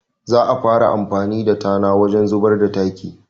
Za a fara amfani da tana wajen ruɓar da taki